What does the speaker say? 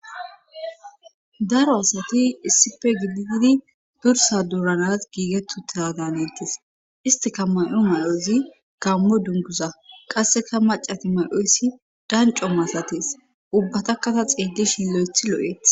Daro asati issipe gilitidi dursa duuranas giigettu ta daanejjus istika may'o may'oyzi gammo dunguza qasseka macati may'oysi danco masatees ubbatakkata xeedishin lo'ethi lo'eeth.